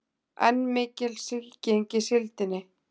Enn mikil sýking í síldinni